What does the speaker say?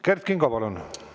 Kert Kingo, palun!